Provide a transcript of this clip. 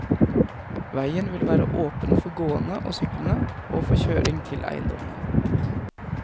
Veien vil være åpen for gående og syklende, og for kjøring til eiendommene.